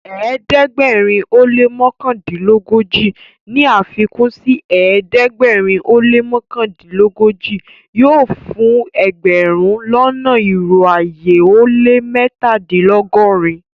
Ẹdẹgbẹ̀rin o lẹ́ mọkandinlọgọ́ji ní afikun sí ẹdẹgbẹ̀rin o lẹ́ mọkandinlọgọ́ji yóò fún ẹgbẹ̀rún lọ́nà irò ayé ó lẹ́ mẹ́tàdìnlọ́gọ́rin.